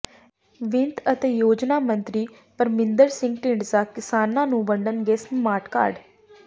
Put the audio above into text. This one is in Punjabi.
ਵਿੱਤ ਅਤੇ ਯੋਜਨਾ ਮੰਤਰੀ ਪਰਮਿੰਦਰ ਸਿੰਘ ਢੀਂਡਸਾ ਕਿਸਾਨਾਂ ਨੂੰ ਵੰਡਣਗੇ ਸਮਾਰਟ ਕਾਰਡ